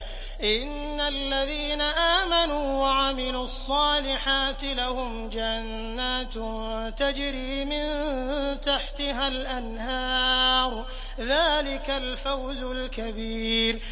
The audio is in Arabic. إِنَّ الَّذِينَ آمَنُوا وَعَمِلُوا الصَّالِحَاتِ لَهُمْ جَنَّاتٌ تَجْرِي مِن تَحْتِهَا الْأَنْهَارُ ۚ ذَٰلِكَ الْفَوْزُ الْكَبِيرُ